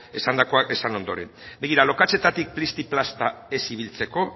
esandakoa esan ondoren begira lokatzetatik plisti plasta ez ibiltzeko